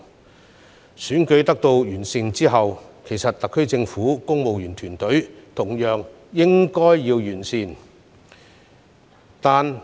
在選舉制度得以完善後，特區政府的公務員團隊同樣應該完善。